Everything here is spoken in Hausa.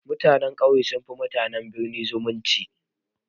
Mutanen ƙauye sun fi mutanen birni zumunci.